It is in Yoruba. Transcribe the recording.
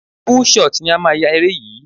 Full shot ni a máa yá eré yìí.